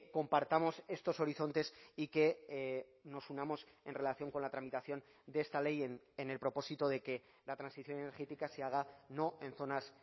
compartamos estos horizontes y que nos unamos en relación con la tramitación de esta ley en el propósito de que la transición energética se haga no en zonas